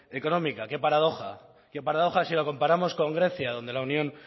económica qué paradoja qué paradoja si lo comparamos con grecia donde la unión